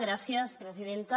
gràcies presidenta